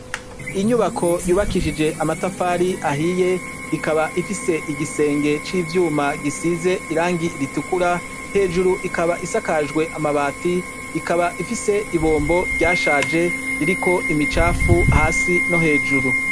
Inyubako yubakishije amatafari ahiye ikaba ifise igisenge c'ivyuma gisize irangi ritukura hejuru ikaba isakajwe amabati ikaba ifise ibombo ryashaje ririko imicafu hasi no hejuru.